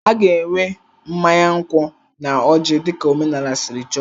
A ga-enwe mmanya nkwụ na ọjị dị ka omenala siri chọọ.